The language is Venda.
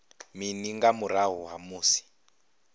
mini nga murahu ha musi